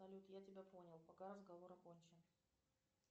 салют я тебя понял пока разговор окончен